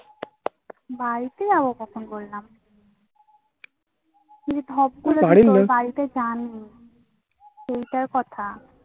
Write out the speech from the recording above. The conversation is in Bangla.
বাড়িতে যাবো কখন বললাম? এই ধপ করে বাড়িতে চান. এইটার কথা.